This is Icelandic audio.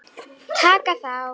Taka þá!